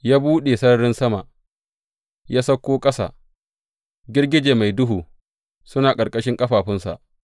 Ya buɗe sararin sama, ya sauko ƙasa, girgije mai duhu suna ƙarƙashin ƙafafunsa.